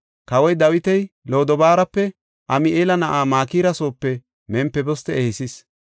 Kawoy Dawiti Lodobaarape Ami7eela na7aa Makira soope Mempiboste ehisis.